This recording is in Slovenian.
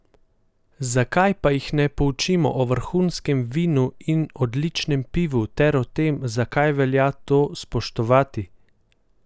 Zakaj pa jih ne poučimo o vrhunskem vinu in odličnem pivu ter o tem, zakaj velja to spoštovati?